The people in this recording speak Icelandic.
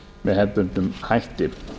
með hefðbundnum hætti